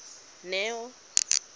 neo